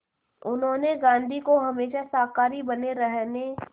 उन्होंने गांधी को हमेशा शाकाहारी बने रहने